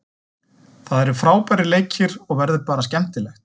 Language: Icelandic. Það eru frábærir leikir og verður bara skemmtilegt.